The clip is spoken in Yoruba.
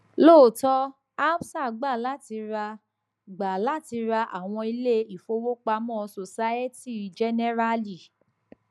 lotò absa gbà láti ra gbà láti ra àwọn ilé ìfowópamọ societe generale